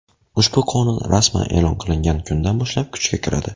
Ushbu qonun rasman e’lon qilingan kundan boshlab kuchga kiradi.